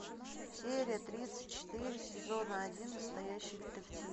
серия тридцать четыре сезона один настоящий детектив